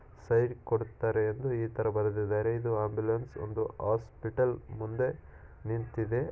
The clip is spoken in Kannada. ಸೈಡ್ ಕೊಡತಾರೆ ಅಂದ್ರೆ ಈ ತರ ಬರೆದಿದ್ದಾರೆ. ಇದು ಆಂಬುಲೆನ್ಸ್ ಒಂದು ಹಾಸ್ಪಿಟಲ್ ಮುಂದೆ ನಿಂತಿದೆ.